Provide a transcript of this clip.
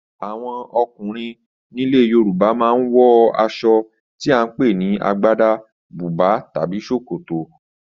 Àwọn ọkùnrin nílẹ̀ Yorùbá ma ń wọ aṣọ tí à ń pè ní Agbádá, bùbá tàbí Ṣòkòtò